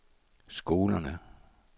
skolerne